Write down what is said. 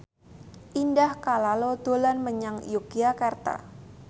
Indah Kalalo dolan menyang Yogyakarta